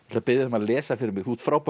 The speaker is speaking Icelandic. að biðja þig að lesa fyrir mig þú ert frábær